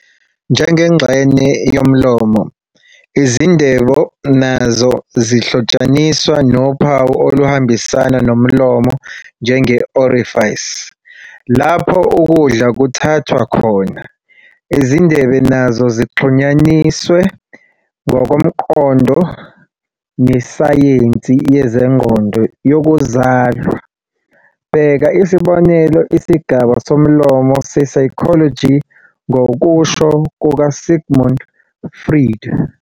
Njengengxenye yomlomo, izindebe nazo zihlotshaniswa nophawu oluhambisana nomlomo njenge-orifice lapho ukudla kuthathwa khona. Izindebe nazo zixhunyaniswe ngokomqondo nesayensi yezengqondo yokuzalwa, bheka isibonelo isigaba somlomo se-psychology ngokusho kukaSigmund Freud.